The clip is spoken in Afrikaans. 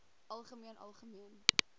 algemeen algemeen